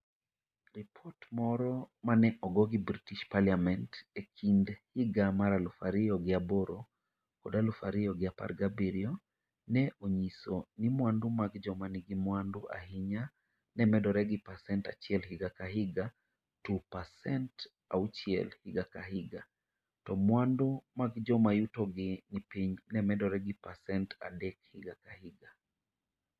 Ripot moro ma ne ogo gi British Parliament e kind higa mar aluf ariyo gi aboro kod aluf ariyo gi apar gi abirio, ne onyiso ni mwandu mag joma nigi mwandu ahinya ne medore gi pasent 1 higa ka higa, to pasent 6 higa ka higa, to mwandu mag joma yutogi ni piny ne medore gi pasent 3 higa ka higa.